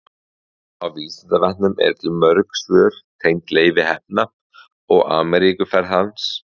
á vísindavefnum eru til mörg svör tengd leifi heppna og ameríkuferð hans